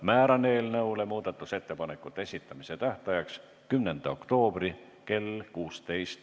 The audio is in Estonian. Määran eelnõu muudatusettepanekute esitamise tähtajaks 10. oktoobri kell 16.